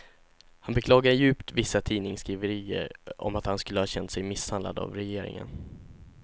Han beklagar djupt vissa tidningssskriverier om att han skulle ha känt sig misshandlad av regeringen.